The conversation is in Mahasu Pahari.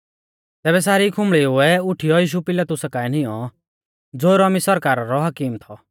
तैबै सारी खुंबल़ीउऐ उठीयौ यीशु पिलातुसा काऐ नींऔ ज़ो रोमी सरकारा रौ हाकीम थौ